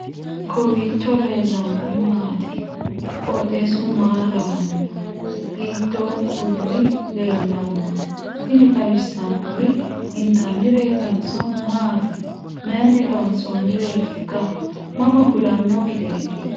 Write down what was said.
kowiicho leellannori maati ? qooxeessu maa lawaanno ? hiitoo kuuli leellanno ? tini xawissannori intannireetinso maati mayiini loonsoonnireetikka ? mama fulanno gideeti